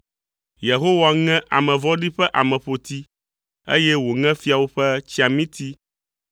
Yehowa ŋe ame vɔ̃ɖi ƒe ameƒoti, eye wòŋe fiawo ƒe tsiamiti